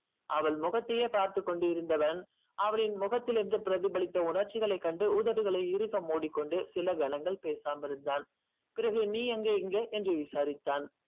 அவள் முகத்தையே பார்த்து கொண்டு இருந்தவன் அவளின் முகத்தில் என்று பிரதிபலித்து உணர்ச்சிகளை கண்டு உதடுகளை இருக மூடிக்கொண்டு சில நேரங்கள் பேசாமல் இருந்தால் பிறகு நீ இங்க என்று விசாரித்தான்